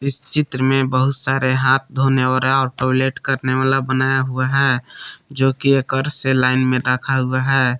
इस चित्र में बहुत सारे हाथ धोने और टॉयलेट करने वाला बनाया हुआ है जो की एकरसे लाइन में रखा हुआ है।